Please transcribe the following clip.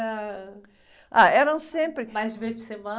Ah, eram sempre...ais divertissement?